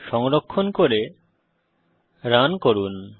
সংরক্ষণ করে রান করুন